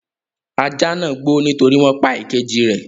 Ajá náà ń gbó nítorí wọn pa ìkejì rẹ̀.